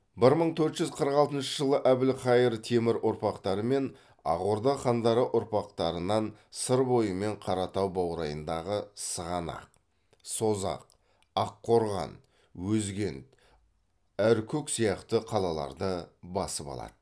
бір мың төрт жүз қырық алтыншы жылы әбілхайыр темір ұрпақтары мен ақ орда хандары ұрпақтарынан сыр бойы мен қаратау баурайындағы сығанақ созақ аққорған өзгент аркүк сияқты қалаларды басып алады